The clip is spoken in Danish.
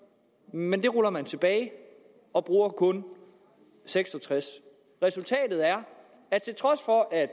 men det ruller man tilbage og bruger kun seks og tres resultatet er at til trods for at